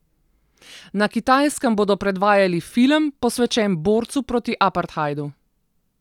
Na Kitajskem bodo predvajali film, posvečen borcu proti apartheidu.